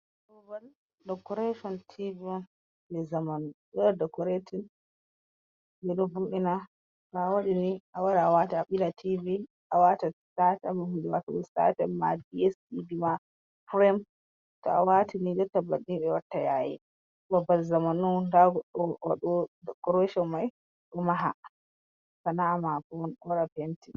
Ubal dekoreshon tivi on je zamanu do waɗa dekoratin ɓeɗo huɓina.to a wadini a wara awata a bila tivi a wata sitatyms huɗe watugo sitatyms, ma di es tivi ma purem to a watini jotta banni ɓe watta yayi. babbal zamanu on ɗa goɗɗo waɗo wo dekoreshon mai ɗo maha sana a mako on o waɗa penti.